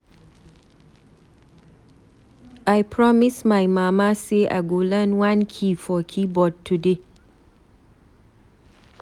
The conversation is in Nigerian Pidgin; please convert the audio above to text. I promise my mama say I go learn one key for keyboard today.